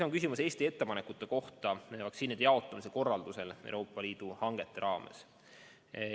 On küsimus Eesti ettepanekute kohta vaktsiinide jaotamiseks Euroopa Liidu hangete raames.